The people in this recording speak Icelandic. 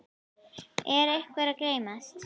Er einhver að gleymast?